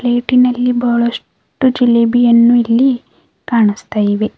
ಪ್ಲೇಟಿನಲ್ಲಿ ಬಹಳಷ್ಟು ಜಿಲೇಬಿಯನ್ನು ಇಲ್ಲಿ ಕಾಣುಸ್ತಾ ಇವೆ.